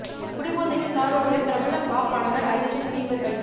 குடிபோதையில் கார் ஓட்டிய பிரபல பாப் பாடகர் ஜஸ்டின் பீபர் கைது